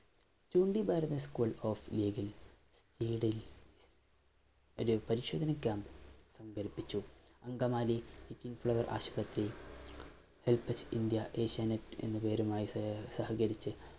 ചൂണ്ടി Bharath School of League ഇല്‍ ലീഡില്‍ ഒരു പരിശോധന ക്യാമ്പ് സംഘടിപ്പിച്ചു. അങ്കമാലി കിംഗ്‌ ഫ്ലവര്‍ ആശുപത്രിയില്‍ helage india asianet എന്ന പേരുമായി സഹകരിച്ച്